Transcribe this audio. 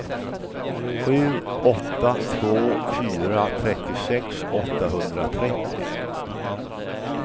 sju åtta två fyra trettiosex åttahundratrettio